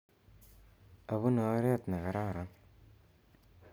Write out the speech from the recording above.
Apune oret ne kararan